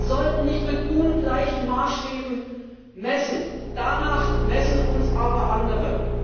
Wir sollten nicht mit ungleichen Maßstäben messen. Danach messen uns aber andere.